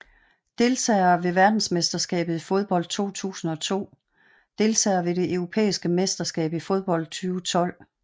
Deltagere ved verdensmesterskabet i fodbold 2002 Deltagere ved det europæiske mesterskab i fodbold 2012